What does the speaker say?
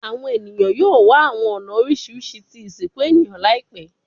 Awọn eniyan yoo wa awọn ọna oriṣiriṣi ti isinku eniyan laipẹ